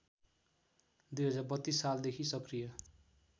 २०३२ सालदेखि सक्रिय